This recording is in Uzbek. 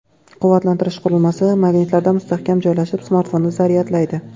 Quvvatlantirish qurilmasi magnitlarda mustahkam joylashib, smartfonni zaryadlaydi.